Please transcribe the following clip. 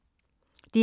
DR1